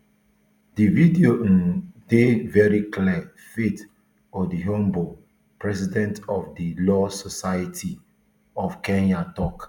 di video um dey veri clear faith odhiambo president of di law society of kenya tok